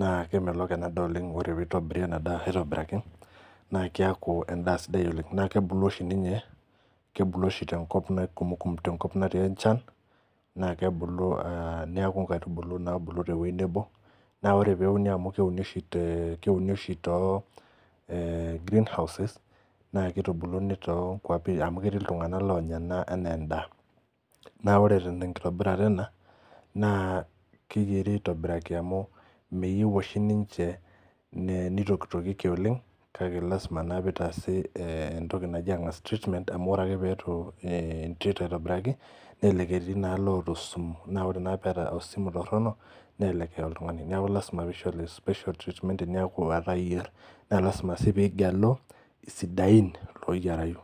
,naa kemelok ena daa oleng ore pee eitobiri ena daa aitobiraki naa keeku endaa sidai oleng naa kebulu oshi ninye tenkop natii enchan naa kebulu neeku nkitiubulu naabulu teweji nebo ,naa ore pee euni amu keuni oshi tegreeehouses naa keitubuluni toonkwapi amu ketii ltungank onya ena enaa endaa ,naa ore tenkitobirata ena naa keyieri aitobiraki amu meyieu oshi ninche neitokitokieki oleng kake lasima naa pee eitaasi entoki naji treatment amu ore pee eitu intreat aitoibiraki naa keeta osimu ,naa ore naa pee eeta osimu toronok nelelek eya oltungani neeku lasima pee eishori special treatment teneku etaa iyier naa lasima pee igelu sidain oyirayu.